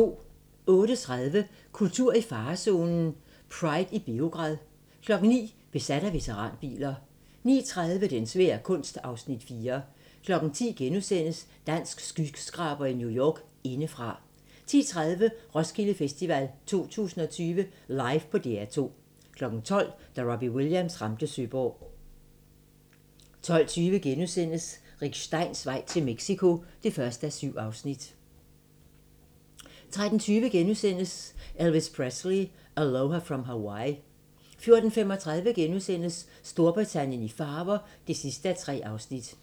08:30: Kultur i farezonen - Pride i Beograd 09:00: Besat af veteranbiler 09:30: Den svære kunst (Afs. 4) 10:00: Dansk skyskraber i New York - Indefra * 10:30: Roskilde Festival 2020 live på DR2 12:00: Da Robbie Williams ramte Søborg 12:20: Rick Steins vej til Mexico (1:7)* 13:20: Elvis Presley: Aloha From Hawaii * 14:35: Storbritannien i farver (3:3)* 15:25: Hugo